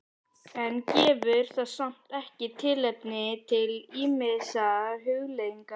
En gefur það samt ekki tilefni til ýmissa hugleiðinga?